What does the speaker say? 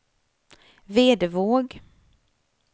Vedevåg